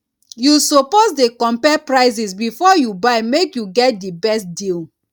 you suppose dey compare prices before you buy make you get di best deal